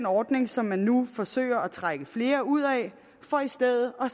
ordning som man nu forsøger at trække flere ud af for i stedet at